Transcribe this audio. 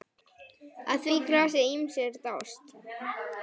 Að því grasi ýmsir dást.